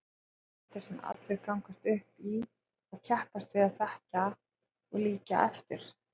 Fyrirmyndir sem allir gangast upp í og keppast við að þekkja og líkja eftir.